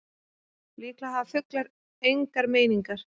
Líklega hafa fuglar engar meiningar.